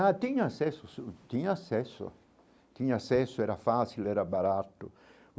Ah, tinha acesso, tinha acesso, tinha acesso, era fácil, era barato.